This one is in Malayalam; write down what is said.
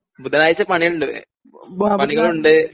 ബുധനാഴ്ച പണിയുണ്ട് .പണികളുണ്ട്